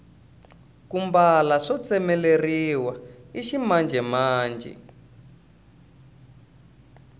ku mbala swo tsemeleriwa i ximanjhemanjhe